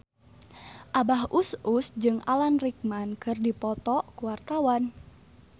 Abah Us Us jeung Alan Rickman keur dipoto ku wartawan